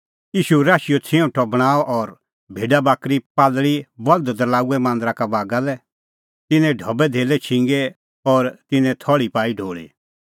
ईशू राशीओ छिऊंटअ बणांअ और भेडाबाकरी कबूतर बल्द दरल़ाऊऐ मांदरा का बागा लै तिन्नें ढबैधेल्लै छिंगै और तिन्नें थल़्ही पाई ढोल़ी